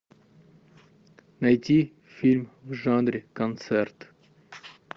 найти фильм в жанре концерт